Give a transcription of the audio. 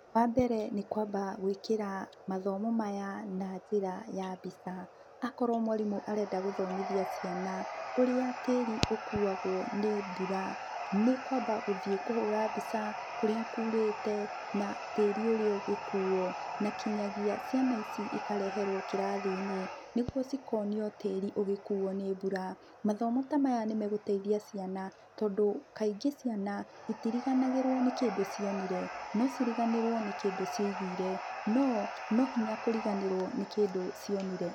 Wambere nĩ kwamba gwĩkira mathomo maya na njĩra ya mbica. Akorwo mwarimũ arenda gũthomithia ciana ũrĩa tiĩri ũkũagwo nĩ mbura, nĩ kwamba gũthiĩ kũhũra mbica kũrĩa kũũrĩte na tiĩri ũrĩa ũgĩkũũo. Na kĩnyagia ciana ici ikareherwo kĩrathi-inĩ nĩgũo cikonio tiĩri ũgĩkuuo nĩ mbura. Mathomo ta maya nĩ megũteithia ciana tondũ kaingĩ ciana itĩrĩganagĩrwo nĩ kĩndũ cionire. No ciriganirwo nĩ kĩndũ cia ĩgũire, no no hinya kũrĩganĩrwo nĩ kĩndũ cionire.